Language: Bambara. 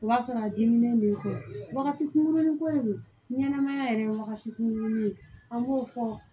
O b'a sɔrɔ a dimi b'i fɛ wagati kurunin ko de don ɲɛnɛmaya yɛrɛ ye wagati kunkurunin ye an b'o fɔ